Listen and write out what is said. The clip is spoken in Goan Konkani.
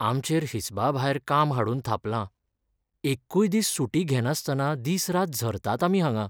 आमचेर हिसबाभायर काम हाडून थापलां, एक्कूय दीस सुटी घेनास्तना दीस रात झरतात आमी हांगां.